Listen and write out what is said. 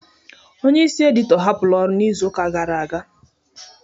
Onye isi edito hapụrụ ọrụ n'izuka gara aga